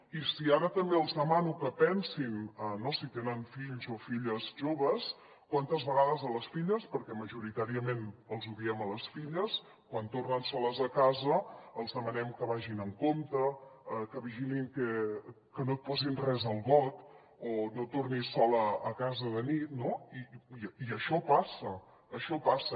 i si ara també els demano que pensin si tenen fills o filles joves quantes vegades a les filles perquè majoritàriament els ho diem a les filles quan tornen soles a casa els demanem que vagin amb compte que vigilin que no et posin res al got o no tornis sola a casa de nit no i això passa això passa